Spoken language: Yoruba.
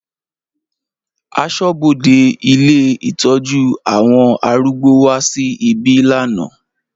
Aṣọ́bodè ilé ìtọ́jú àwọn arúgbó wá sí ibí lánàá.